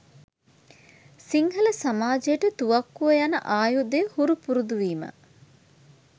සිංහල සමාජයට තුවක්කුව යන ආයුධය හුරු පුරුදුවීම